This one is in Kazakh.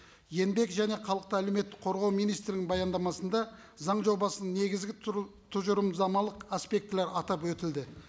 еңбек және халықты әлеуметтік қорғау министрлігінің баяндамасында заң жобасының негізгі тұжырымдамалық аспектілері атап өтілді